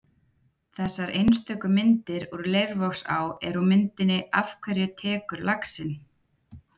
Þessar einstöku myndir úr Leirvogsá eru úr myndinni Af hverju tekur laxinn?